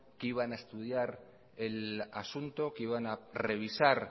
que iban a estudiar el asunto que iban a revisar